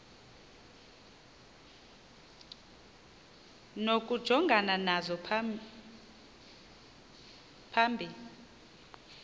nokujongana nazo phambi